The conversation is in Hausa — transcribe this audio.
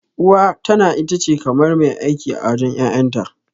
Uwa tana itace kamar mai aiki a wajen ƴaƴanta.